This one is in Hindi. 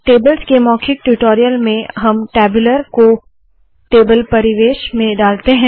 टेबल्स के मौखिक ट्यूटोरियल में हम टैब्यूलर को टेबल परिवेश में डालते है